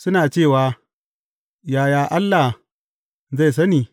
Suna cewa, Yaya Allah zai sani?